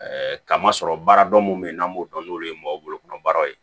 kama sɔrɔ baara dɔ mun be yen n'an b'o dɔn n'olu ye mɔgɔ bolo baaraw ye